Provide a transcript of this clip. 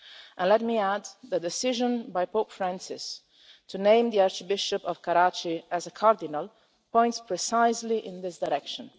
And let me add that the decision by Pope Francis to name the Archbishop of Karachi as a cardinal points precisely in this direction.